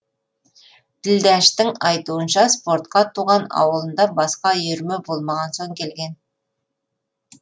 ділдәштің айтуынша спортқа туған ауылында басқа үйірме болмаған соң келген